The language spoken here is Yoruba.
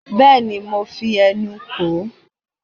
bẹẹni mo fí ẹnu kò ó